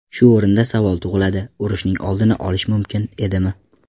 Shu o‘rinda savol tug‘iladi: urushning oldini olish mumkin edimi?